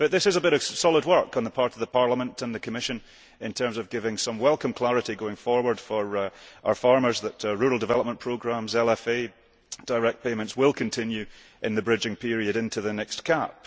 This is a bit of solid work on the part of Parliament and the Commission in terms of giving some welcome clarity going forward for our farmers that rural development programmes and LFA direct payments will continue in the bridging period into the next CAP.